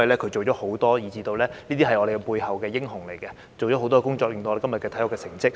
他做了很多工作，是背後的英雄，所以我們的體育才取得今天的成績。